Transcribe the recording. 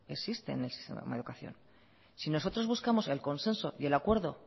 existe en el sistema de educación si nosotros buscamos el consenso y el acuerdo